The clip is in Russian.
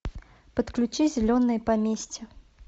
подключи зеленое поместье